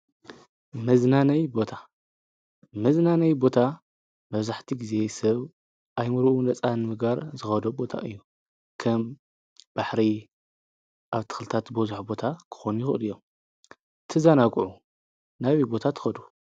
መዝናነይ ቦታ :- መዝናነይ ቦታ መብዛሕትኡ ግዜ ሰብ ኣእምርኡ ነፃ ንምግባር ዝኸዶ ቦታ እዩ። ከም ባሕሪ ኣትኽልታት ዝበዞሖም ቦታ ክኾኑ ይኽእሉ እዮም። ክትዘናግዑ ናበይ ቦታ ትከዱ?